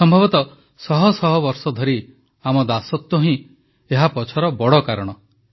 ସମ୍ଭବତଃ ଶହ ଶହ ବର୍ଷ ଧରି ଆମ ଦାସତ୍ୱ ହିଁ ଏହାପଛର ବଡ଼ କାରଣ